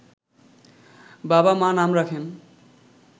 বাবা-মা নাম রাখেন